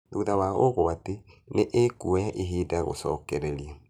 Thutha wa ũgwati nĩ ĩkuoya ihinda gũcokereria.